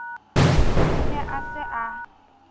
o ne a se a